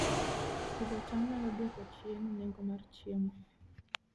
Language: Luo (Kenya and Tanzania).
Pidho cham nyalo dwoko chien nengo mar chiemo